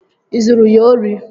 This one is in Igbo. Ị zuru ya ori?